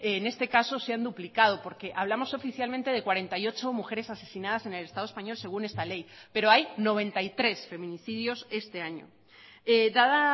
en este caso se han duplicado porque hablamos oficialmente de cuarenta y ocho mujeres asesinadas en el estado español según esta ley pero hay noventa y tres feminicidios este año dada